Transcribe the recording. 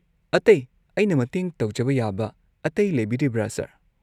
ꯑꯇꯩ ꯑꯩꯅ ꯃꯇꯦꯡ ꯇꯧꯖꯕ ꯌꯥꯕ ꯑꯇꯩ ꯂꯩꯕꯤꯔꯤꯕ꯭ꯔꯥ, ꯁꯔ?